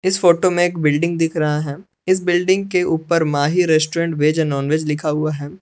इस फोटो में एक बिल्डिंग दिख रहा है इस बिल्डिंग के ऊपर माही रेस्टोरेंट वेज और नॉनवेज लिखा हुआ है।